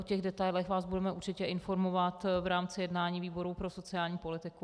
O těch detailech vás budeme určitě informovat v rámci jednání výboru pro sociální politiku.